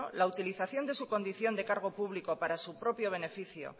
la utilización de su condición de cargo público para su propio beneficio